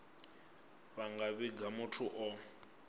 vha nga vhiga muthu o